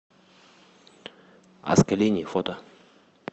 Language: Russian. аскалини фото